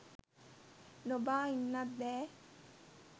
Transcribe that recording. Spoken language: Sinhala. නොබා ඉන්නත් බෑ